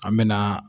An mɛna